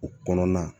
O kɔnɔna